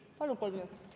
Palun veel kolm minutit.